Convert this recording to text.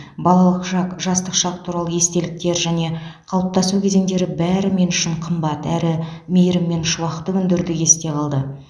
балалық шақ жастық шақ туралы естеліктер және қалыптасу кезеңдері бәрі мен үшін қымбат әрі мейірім мен шуақты күндердей есте қалды